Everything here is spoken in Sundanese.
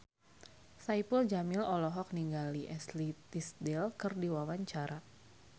Saipul Jamil olohok ningali Ashley Tisdale keur diwawancara